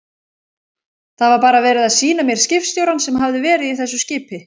Það var bara verið að sýna mér skipstjórann sem hafði verið í þessu skipi.